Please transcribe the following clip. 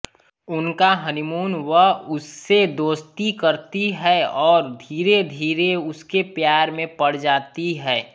उनका हनीमून वह उससे दोस्ती करती है और धीरेधीरे उसके प्यार में पड़ जाती है